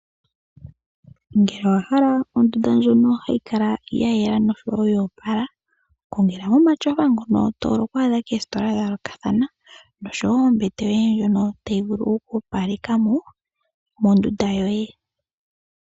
Ngele owahala ondunda ndjono hayi kala yayela noshowo yo opala, kongelamo omatyofa ngono tovulu oku adha koositola dhayoolokathana, noshowo ombete yoye ndjono tayi vulu okukaleka ondunda yoye yo opala.